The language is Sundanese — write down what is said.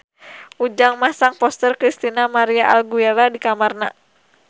Ujang masang poster Christina María Aguilera di kamarna